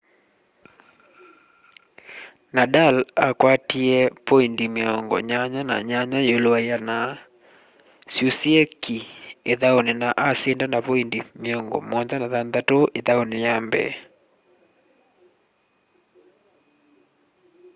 nadal akwatie poindi 88% syusîe ki îthaûnî na asinda na poindi 76 îthaûnî ya mbee